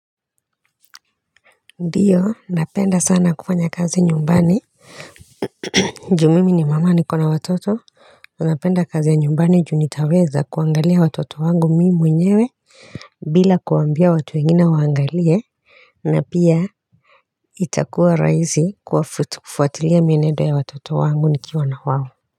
Ndiyo napenda sana kufanya kazi nyumbani juu mimi ni mama niko na watoto napenda kazi ya nyumbani juu nitaweza kuangalia watoto wangu mimi mwenyewe bila kuambia watu wengine waangalie na pia itakuwa rahisi kufuatilia mienendo ya watoto wangu nikiwa na wao.